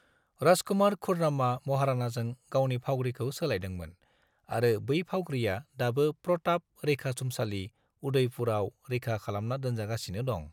राजकुमार खुर्रमा महाराणाजों गावनि फाउग्रीखौ सोलायदोंमोन आरो बै फाउग्रीआ दाबो प्रताप रैखाथुमसालि, उदयपुराव रैखा खालामना दोनजागासिनो दं।